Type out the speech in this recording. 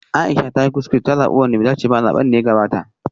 Aisha ta yi kuskure ta zabi wanda bai dace ba a zaben da ya gabata